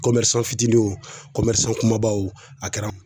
fitinin wo kumabaw a kɛra